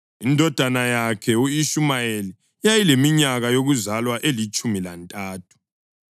indodana yakhe u-Ishumayeli yayileminyaka yokuzalwa elitshumi lantathu;